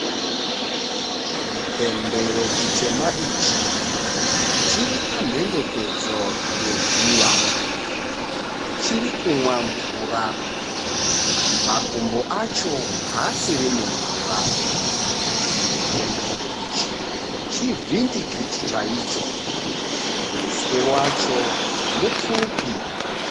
Chipembere chitema ichi chiripamhendekedzo yedziva. Chirikumwa mvura, makumbo acho haasiri mumvura. Chipembere ichi chivhindikiti chacho, muswe wacho mupfupi.